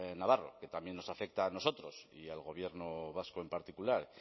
navarro que también nos afecta a nosotros y al gobierno vasco en particular